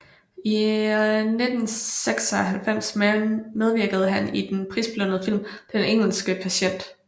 I 1996 medvirkede han i den prisbelønnede film Den engelske patient